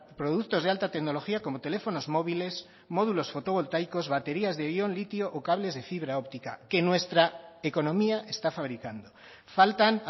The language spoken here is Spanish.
productos de alta tecnología como teléfonos móviles módulos fotovoltaicos baterías de ión litio o cables de fibra óptica que nuestra economía está fabricando faltan